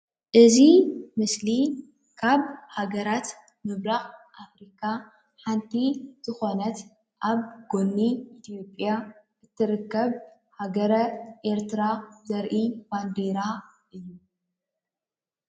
እዚ ምስሊ ካብ ሃገራት ምብራቅ አፍሪካ ሓንቲ ዝኮነት አብ ጉኒ ኢትዮጲያ እትርከብ ሃገረ ኤርትራ ዘርኢ ባንዴራ እዩ፡፡